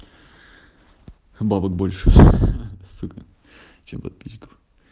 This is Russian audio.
бабок больше сука чем подписчиков